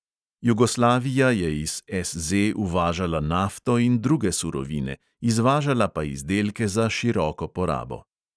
Jugoslavija je iz SZ uvažala nafto in druge surovine, izvažala pa izdelke za široko porabo.